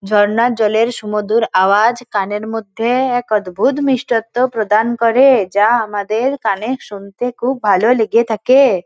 ঝর্ণার জলের সমুদর আওয়াজ কানের মধ্যে এক অদ্ভূত মিষ্টথ প্রদান করে | যা আমাদের কানে শুনতে খুব ভালো লেগে থাকে।